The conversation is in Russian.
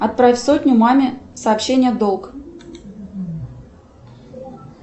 отправь сотню маме сообщение долг